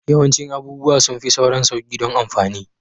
Yawancin abubuwa sun fi sauran sauƙi don amfani